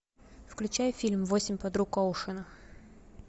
включай фильм восемь подруг оушена